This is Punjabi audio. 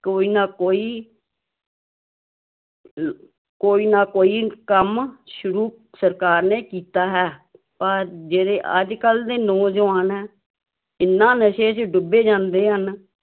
ਕੋਈ ਨਾ ਕੋਈ ਕੋਈ ਨਾ ਕੋਈ ਕੰਮ ਸ਼ੁਰੂ ਸਰਕਾਰ ਨੇ ਕੀਤਾ ਹੈ, ਪਰ ਜਿਹੜੇ ਅੱਜ ਕੱਲ੍ਹ ਦੇ ਨੌਜ਼ਵਾਨ ਹੈ, ਇੰਨਾ ਨਸ਼ੇ ਵਿੱਚ ਡੁੱਬੇ ਜਾਂਦੇ ਹਨ